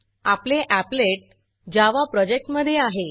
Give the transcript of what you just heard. आपले applet applet Java प्रोजेक्टमधे आहे